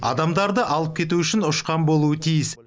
адамдарды алып кету үшін ұшқан болуы тиіс